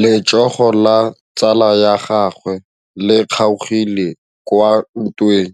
Letsôgô la tsala ya gagwe le kgaogile kwa ntweng